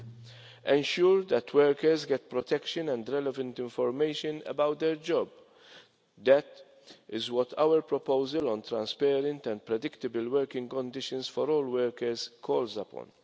To ensure that workers get protection and the relevant information about their job that is what our proposal on transparent and predictable working conditions for all workers calls upon.